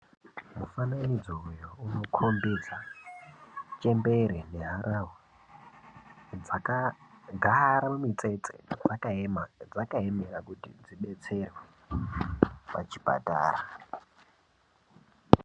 Mufananidzo uyo unokombidza chembere neharahwa dzakagara mumitsetse dzakaema zvadzakaemera kuti dzidetserwe pachipatara.